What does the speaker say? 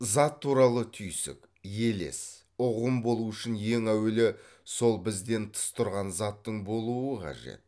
зат туралы түйсік елес ұғым болу үшін ең әуелі сол бізден тыс тұрған заттың болуы қажет